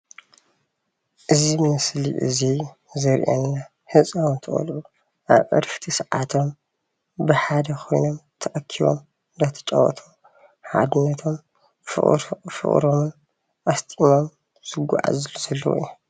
እዚ ምስሊ እዚ ዘርእየና ህፃውንቲ ቆልዑ ኣብ ዕረፍቲ ሰዓቶም ብሓደ ኮይኖም ተኣኪቦም እናተጫወቱ ሓድነቶም ፍቅሮምን ኣስጢሞም ዝጓዓዙሉ ዘለው እዮም፡፡